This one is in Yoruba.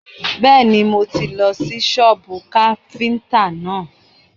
Bẹ́ẹ̀ni, mo tì lọ sí sọ́bù káfíntà náà.